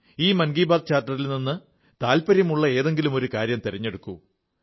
ഈ മൻ കീ ബാത്ത് ചാർട്ടറിൽ നിന്ന് താത്പര്യമുള്ള ഏതെങ്കിലുമൊരു കാര്യം തിരഞ്ഞെടുക്കൂ